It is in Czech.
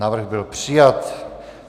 Návrh byl přijat.